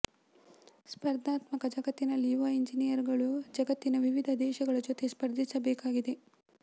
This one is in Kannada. ಸ್ಪರ್ಧಾತ್ಮಕ ಜಗತ್ತಿನಲ್ಲಿ ಯುವ ಇಂಜಿನಿಯರ್ ಗಳು ಜಗತ್ತಿನ ವಿವಿಧ ದೇಶಗಳ ಜೊತೆ ಸ್ಪರ್ಧಿಸಬೇಕಾಗಿದೆ